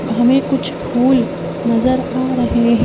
हमें कुछ फूल नजर आ रहे हैं।